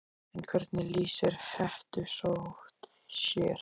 En hvernig lýsir hettusótt sér?